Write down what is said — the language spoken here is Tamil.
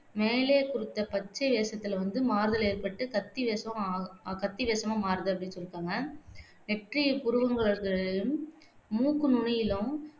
மேலே குறித்த பச்சை வேஷத்தில வந்து மாறுதல் ஏற்பட்டு கத்தி வேஷமா ஆகு கத்தி வேசமா மாறுது அப்படி சொல்லியிருக்காங்க நெற்றி புருவங்களுக்கு மூக்கு நுனியிலும்